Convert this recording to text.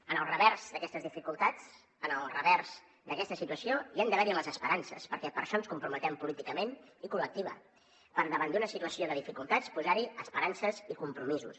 en el revers d’aquestes dificultats en el revers d’aquesta situació hi han d’haver hi les esperances perquè per això ens comprometem políticament i col·lectiva per davant d’una situació de dificultats posar hi esperances i compromisos